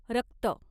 रक्त